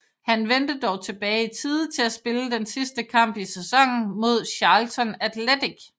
Han vendte dog tilbage i tide til at spille den sidste kamp i sæsonen mod Charlton Athletic